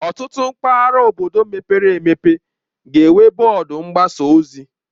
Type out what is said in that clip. Ọtụtụ mpaghara obodo mepere emepe ga-enwe bọọdụ mgbasa ozi